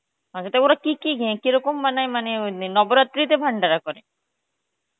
মানে সেটা ওরা কি কি কেরকম মানে ওই নব রাত্রিতে ভান্ডার করে